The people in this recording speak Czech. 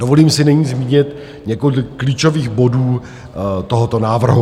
Dovolím si nyní zmínit několik klíčových bodů tohoto návrhu.